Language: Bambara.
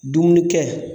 Dumuni kɛ